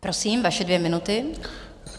Prosím, vaše dvě minuty.